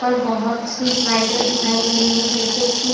पर बहोत सी स्लाइडें दिखाई दे रही है जैसे की--